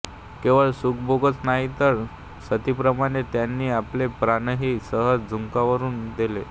केवळ सुखभोगच नाही तर सतीप्रमाणे त्यांनी आपले प्राणही सहज झुंगारून दिले